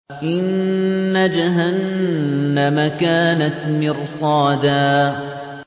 إِنَّ جَهَنَّمَ كَانَتْ مِرْصَادًا